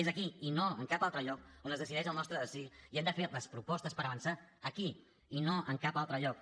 és aquí i no en cap altre lloc on es decideix el nostre destí i hem de fer les propostes per avançar aquí i no en cap altre lloc